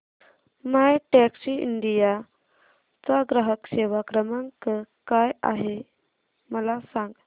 My Taxi India चा ग्राहक सेवा क्रमांक काय आहे मला सांग